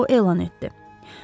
O elan etdi.